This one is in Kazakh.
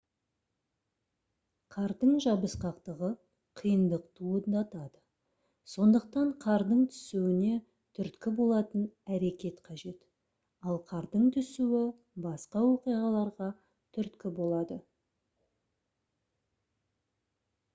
қардың жабысқақтығы қиындық туындатады сондықтан қардың түсуіне түрткі болатын әрекет қажет ал қардың түсуі басқа оқиғаларға түрткі болады